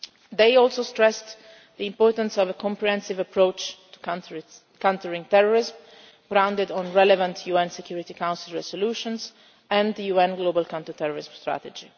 issue. They also stressed the importance of a comprehensive approach to countering terrorism, founded on relevant UN Security Council resolutions, and the UN Global Counter Terrorism strategy.